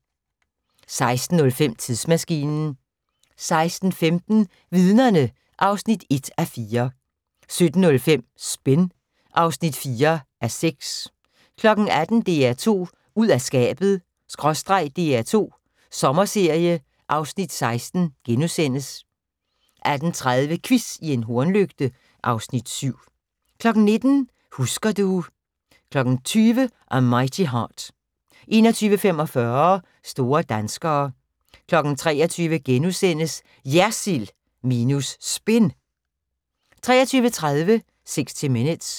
16:05: Tidsmaskinen 16:15: Vidnerne (1:4) 17:05: Spin (4:6) 18:00: DR2 ud af skabet/ DR2 Sommerserie (Afs. 16)* 18:30: Quiz i en hornlygte (Afs. 7) 19:00: Husker du... 20:00: A Mighty Heart 21:45: Store danskere 23:00: JERSILD minus SPIN * 23:30: 60 Minutes